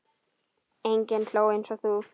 Enginn hló eins og þú.